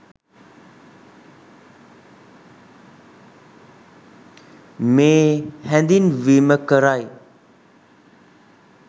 මේ හැඳින්වීම කරයි.